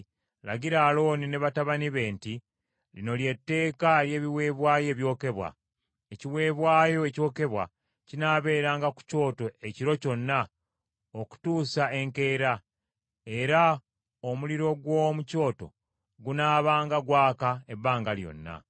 “Lagira Alooni ne batabani be nti: Lino lye tteeka ery’ebiweebwayo ebyokebwa. Ekiweebwayo ekyokebwa kinaabeeranga ku kyoto ekiro kyonna okutuusa enkeera, era omuliro gw’omu kyoto gunaabanga gwaka ebbanga lyonna.